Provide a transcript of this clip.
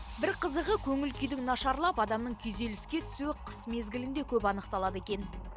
бір қызығы көңіл күйдің нашарлап адамның күйзеліске түсуі қыс мезгілінде көп анықталады екен